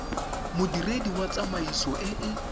modiredi wa tsamaiso e e